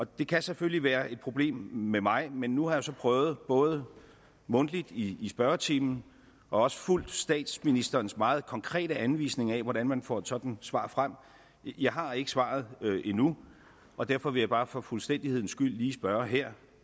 det kan selvfølgelig være et problem med mig men nu har jeg jo så prøvet både mundtligt i spørgetimen og også fulgt statsministerens meget konkrete anvisning af hvordan man får sådan svar frem jeg har ikke svaret endnu og derfor vil jeg bare for fuldstændighedens skyld også lige spørge her